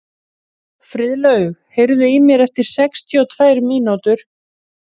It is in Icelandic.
Ég er formaður landsliðsnefndar kvenna.